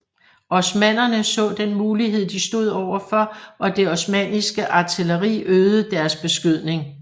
Osmannerne så den mulighed de stod overfor og det osmanniske artilleri øgede deres beskydning